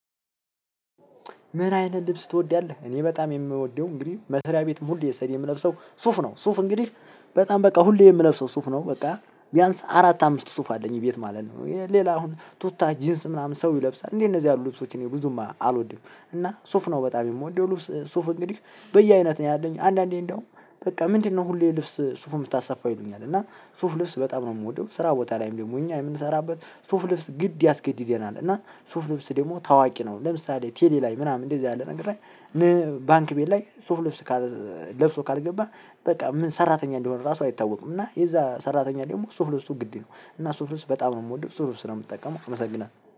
ምን አይነት ልብስ ትወዳለህ? እኔ በጣም የምወደው እንግዲህ መስሪያ ቤት ሁሉ ስሄድ የምለብሰው ሱፍ ነው ሱፍ እንግዲህ በጣም በቃ ሁሌ የምለብሰው ሱፍ ነው። በቃ ቢያንስ አራት አምስት ሱፍ አለኝ ቤት ማለት ነው። ሌላ አሁን ቱታ ጂንስ ምናምን ሰው ይለብሳል እንዴ? እነዚህ ያሉ ልብሶች እኔ ብዙም አልወድም እና ሱፍ ነው በጣም የምወደው። ልብስ ሱፍ እንግዲህ በየአይነት ነው ያለኝ አንዳንዴ እንደውም በቃ ምንድነው ሁሌ ልብስ ሱፍ የምታሰፋው ይሉኛል። እና ሱፍ ልብስ በጣም ነው የምወደው። ስራ ቦታ ላይም ደግሞ እኛ የምንሰራበት ሱፍ ልብስ ግድ ያስገድደናል። እና ሱፍ ልብስ ደግሞ ታዋቂ ነው ለምሳሌ ቴሌ ላይ ምናምን እንደዚህ ያለ ነገርላይ። ባንክ ቤት ላይ ሱፍ ልብስ ለብሶ ካልገባህ። በቃ ምን ሰራተኛ እንደሆነ ራሱ አይታወቁም እና የዛ ሰራተኛ ደግሞ ሱፍ ልብሱ ግድ ነው። እና ሱፍ ልብስ በጣም ነው የምወደው ሱፍ ልብስ ነው። የምትጠቀመው አመሰግናለሁ